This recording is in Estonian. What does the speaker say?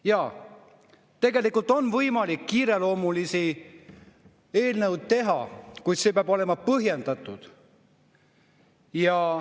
Jaa, tegelikult on võimalik kiireloomulisi eelnõusid teha, kuid see peab olema põhjendatud.